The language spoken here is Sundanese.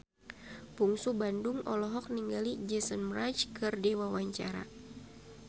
Bungsu Bandung olohok ningali Jason Mraz keur diwawancara